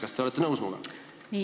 Kas te olete minuga nõus?